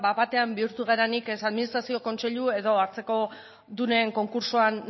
bat batean bihurtu garenik ez administrazio kontseilu edo hartzekodunen konkurtsoan